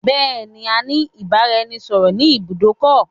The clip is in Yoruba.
Bẹ̀ẹ̀ẹ̀ni, a ní ìbáraẹnisọọ̀rọ̀ ni ibùdó ọkọ̀.